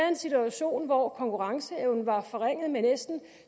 en situation hvor konkurrenceevnen var forringet med næsten